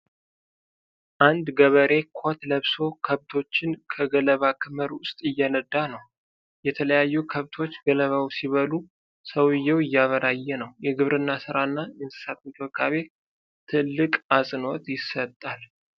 አንድ ገበሬ ኮት ለብሶ ከብቶችን ከገለባ ክምር ውስጥ እየነዳ ነው። የተለያዩ ከብቶች ገለባውን ሲበሉ፤ ሰውየው እያበራየ ነው። የግብርናው ስራ እና የእንስሳት እንክብካቤ ትልቅ አጽንዖት ይሰጣል።